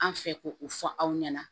An fɛ ko o fɔ aw ɲɛna